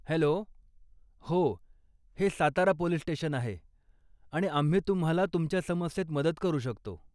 Hello, हो हे Satara police station आहे आणि आम्ही तुम्हाला तुमच्या समस्येत मदत करू शकतो.